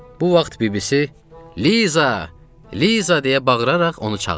Bu vaxt bibisi "Liza, Liza!" deyə bağıraraq onu çağırdı.